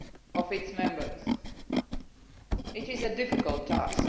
of its members. It is a difficult task.